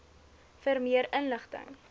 vir meer inligting